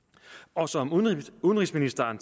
og som udenrigsministeren